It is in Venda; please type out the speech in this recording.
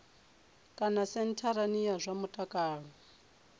kana sentharani ya zwa mutakalo